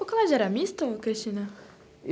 O colégio era misto, Cristina?